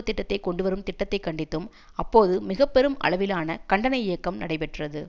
திட்டத்தை கொண்டுவரும் திட்டத்தை கண்டித்தும் அப்போது மிக பெரும் அளவிலான கண்டன இயக்கம் நடைபெற்றது